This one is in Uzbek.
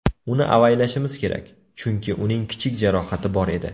Uni avaylashimiz kerak, chunki uning kichik jarohati bor edi.